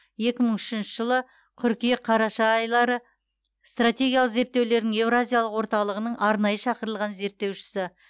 екі мың үшінші жылы қыркүйек қараша айлары стратегиялық зерттеулердің еуразиялық орталығының арнайы шақырылған зерттеушісі